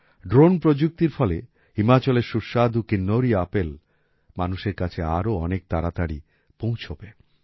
drone প্রযুক্তির ফলে হিমাচলের সুস্বাদু কিন্নৌরি আপেল মানুষের কাছে আরও অনেক তাড়াতাড়ি পৌঁছবে